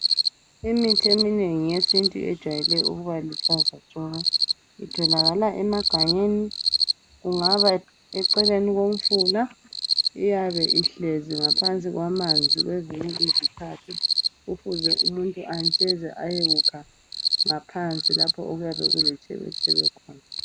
Imithi eminengi yesintu ejwayele ukuba luhlaza tshoko. Itholakala emagangeni kungaba eceleni komfula. Iyabe ihlezi ngaphansi kwamanzi kwezinye izikhathi .Kufuze umuntu antsheze ayekukha ngaphansi lapho okuyabe kuletshebetshebe khona.